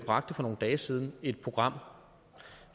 bragte for nogle dage siden et program